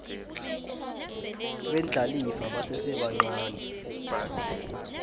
beendlalifa basese bancani